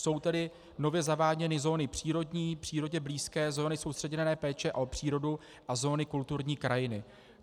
Jsou tedy nově zaváděny zóny přírodní, přírodě blízké zóně soustředěné péče o přírodu a zóny kulturní krajiny.